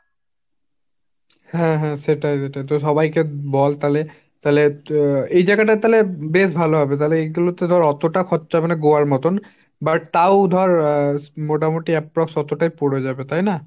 হাঁ হাঁ সেটাই সেটাই, তো সবাই কে বল তালে, তালে তো এই জাগাটা তালে বেশ ভাল হবে তালে এগুলো তে তালে অতটা খরচা হবে না গোয়ার মতো but তাও ধর আহ মোটামুটি approx. অতোটাই পরে যাবে তাইনা।